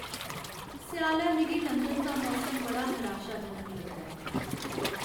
स्यालै मिगी लंदन दा मौसम बड़ा निराशाजनक लगदा ऐ।